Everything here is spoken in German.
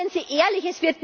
Seien Sie ehrlich